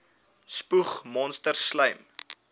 spoeg monsters slym